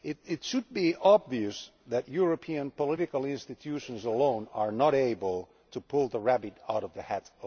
It should be obvious that European political institutions alone are not able to pull the rabbit out of the hat.